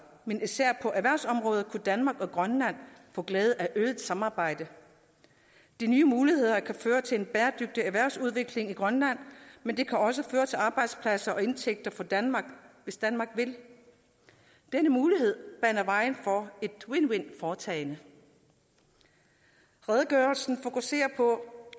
men især på erhvervsområdet kunne danmark og grønland få glæde af øget samarbejde de nye muligheder kan føre til en bæredygtig erhvervsudvikling i grønland men de kan også føre til arbejdspladser og indtægter fra danmark hvis danmark vil denne mulighed baner vejen for et win win foretagende redegørelsen fokuserer